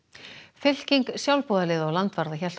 fylking sjálfboðaliða og landvarða hélt á